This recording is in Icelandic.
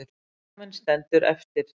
Líkaminn stendur eftir.